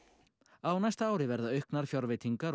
á næsta ári verða auknar fjárveitingar